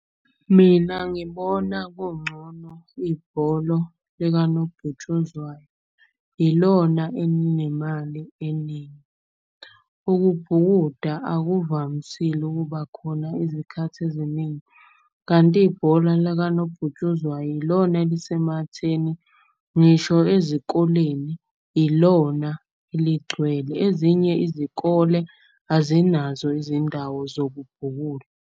Mina ngibona kungcono ibholo likanobhutshuzwayo, ilona elinemali eningi. Ukubhukuda akuvamisile ukuba khona izikhathi eziningi kanti ibhola lakanobhutshuzwayo ilona elisematheni, ngisho ezikoleni ilona eligcwele. Ezinye izikole azinazo izindawo zokubhukuda.